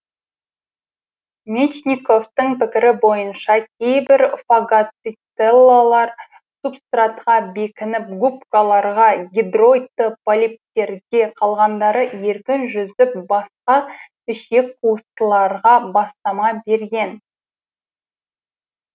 мечниковтың пікірі бойынша кейбір фагоцителлалар субстратқа бекініп губкаларға гидроидты полиптерге қалғандары еркін жүзіп басқа ішекқуыстыларға бастама берген